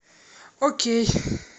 окей